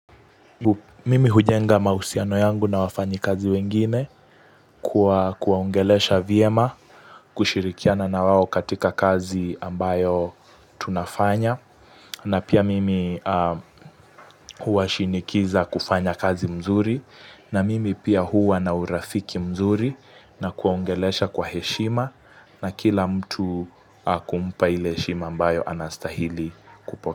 Mimi hujenga mahusiano yangu na wafanyikazi wengine kwa kuwaongelesha vyema kushirikiana na wao katika kazi ambayo tunafanya na pia mimi huwashinikiza kufanya kazi mzuri na mimi pia huwa na urafiki mzuri na kuwaongelesha kwa heshima na kila mtu kumpa ile heshima ambayo anastahili kupo.